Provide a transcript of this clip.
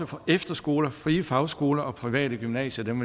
for efterskoler frie fagskoler og private gymnasier men